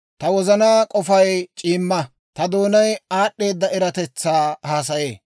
Ta wozanaa k'ofay c'iimma; ta doonay aad'd'eeda eratetsaa haasayee.